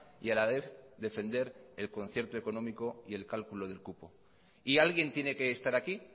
y a la vez defender el concierto económico y el cálculo del cupo y alguien tiene que estar aquí